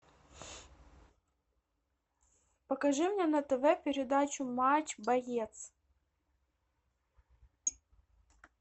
покажи мне на тв передачу матч боец